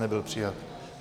Nebyl přijat.